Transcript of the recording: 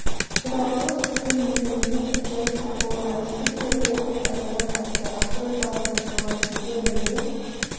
төрағалық тізгін низамеддин ходжаевтың қолына тиді де ол деп айқайлап айтты ақыры зал тынышталған кезде мінбе